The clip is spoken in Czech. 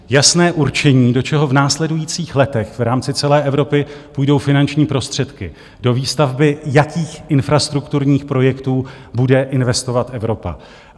Jasné určení, do čeho v následujících letech v rámci celé Evropy půjdou finanční prostředky, do výstavby jakých infrastrukturních projektů bude investovat Evropa.